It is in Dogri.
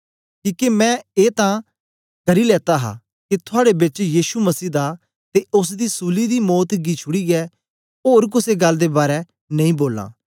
किके मैं ए तै करी लेता हा के थुआड़े बेच यीशु मसीह दा ते ओसदी सूली दी मौत गी छुड़ीयै ओर कुसे गल्ल दे बारै नेई बोलां